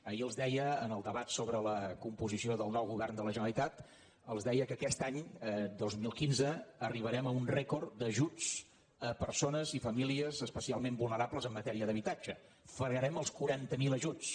ahir els deia en el debat sobre la composició del nou govern de la generalitat els deia que aquest any dos mil quinze arribarem a un rècord d’ajuts a persones i famílies especialment vulnerables en matèria d’habitatge fregarem els quaranta miler ajuts